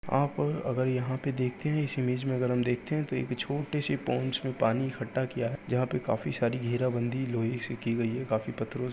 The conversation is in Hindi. आप अगर यहाँ देखते है इस इमेज में अगर हम देखते है तो एक छोटी सी पोन्स में पानी इकठ्ठा किया है। जहा पे काफी सारी घेरा बंधी लोहे से की गई है। काफी पत्थरों से --